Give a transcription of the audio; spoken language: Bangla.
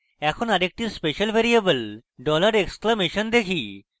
এখন আরেকটি special ভ্যারিয়েবল dollar এক্সক্লেমেশন দেখি